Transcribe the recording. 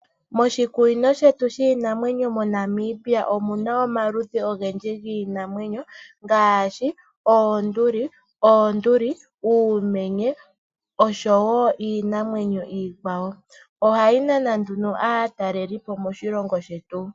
Moshikunino shetu shiinamwenyo moNamibia omu na omaludhi ogendji giinamwenyo ngaashi oonduli, uumenye oshowo iinamwenyo iikwawo. Ohayi nana aatalelipo moshilongo shetu.